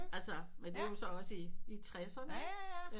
Altså men det var jo også i i tresserne ikke